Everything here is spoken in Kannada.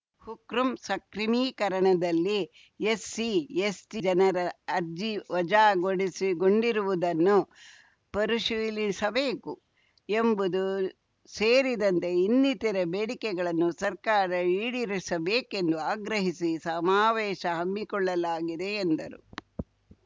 ಕೃಮ್ ಸಕ್ರಮೀಕರಣದಲ್ಲಿ ಎಸ್ಸಿಎಸ್ಟಿಜನರ ಅರ್ಜಿ ವಜಾಗೊಳಿಸಿ ಗೊಂಡಿರುವುದನ್ನು ಮರುಪರಿಶೀಲಿಸಬೇಕು ಎಂಬುದು ಸೇರಿದಂತೆ ಇನ್ನಿತರೆ ಬೇಡಿಕೆಗಳನ್ನು ಸರ್ಕಾರ ಈಡೇರಿಸಬೇಕೆಂದು ಆಗ್ರಹಿಸಿ ಸಮಾವೇಶ ಹಮ್ಮಿಕೊಳ್ಳಲಾಗಿದೆ ಎಂದರು